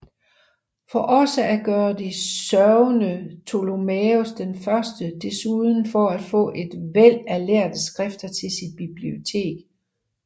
For også at gøre det sørgede Ptolemæus I desuden for at få et væld af lærde skrifter til sit bibliotek